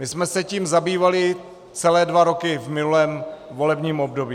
My jsme se tím zabývali celé dva roky v minulém volebním období.